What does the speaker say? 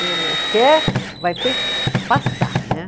quer, vai ter que pastar, né?